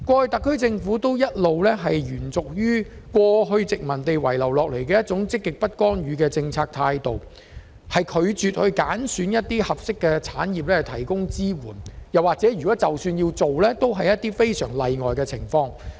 特區政府過去一直延續殖民地政府遺留的"積極不干預"政策態度，拒絕揀選一些合適產業以提供支援，又或是只在非常例外的情況下才揀選產業。